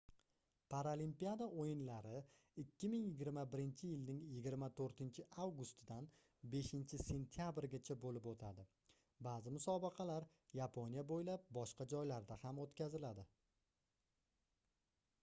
paralimpiada oʻyinlari 2021-yilning 24-avgustidan 5-sentabrigacha boʻlib oʻtadi baʼzi musobaqalar yaponiya boʻylab boshqa joylarda ham oʻtkaziladi